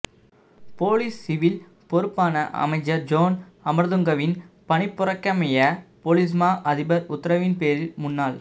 police civil பொறுப்பான அமைச்சர் John அமரதுங்கவின் பணிப்புரைக்கமைய பொலிஸ்மா அதிபர் உத்தரவின் பேரில் முன்னாள்